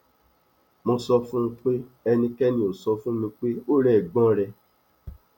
mo sọ fún un pé ẹnikẹni ò sọ fún mi pé ó rẹ ẹgbọn rẹ